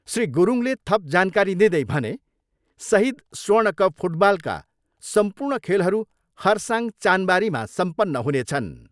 श्री गुरूङले थप जानकारी दिँदै भने, सहिद स्वर्ण कप फुटबलका सम्पूर्ण खेलहरू खरसाङ चानबारीमा सम्पन्न हुनेछन्।